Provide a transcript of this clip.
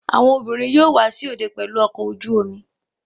Àwọn obìnrin yóò wá sí òde pẹlú ọkọ ojú-omi